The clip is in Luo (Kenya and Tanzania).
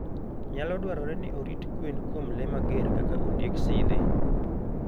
Nyalo dwarore ni orit gwen kuom le mager kaka ondieg sidhe.